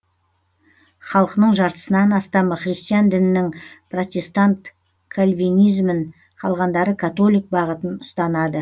халқының жартысынан астамы христиан дінінің протестант кальвинизмін қалғандары католик бағытын ұстанады